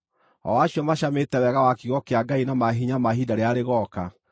o acio macamĩte wega wa kiugo kĩa Ngai na maahinya ma ihinda rĩrĩa rĩgooka,